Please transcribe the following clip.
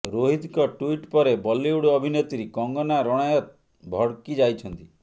ରୋହିତଙ୍କ ଟ୍ୱିଟ ପରେ ବଲିଉଡ ଅଭିନେତ୍ରୀ କଙ୍ଗନା ରଣାୱତ ଭଡକି ଯାଇଛନ୍ତି